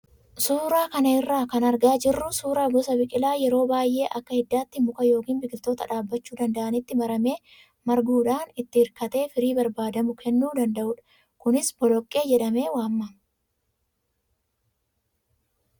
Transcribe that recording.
Suuraa kana irraa kan argaa jirru suuraa gosa biqilaa yeroo baay'ee akka hiddaatti muka yookaan biqiloota dhaabbachuu danda'anitti maramee marguudhaan itti hirkatee firii barbaadamu kennuu danda'udha. Kunis boloqqee jedhamee waamama.